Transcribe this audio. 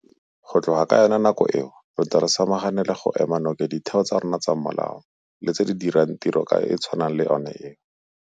Go tloga ka yona nako eo re ntse re samagane le go ema nokeng ditheo tsa rona tsa molao le tse di dirang tiro e e tshwanang le eo.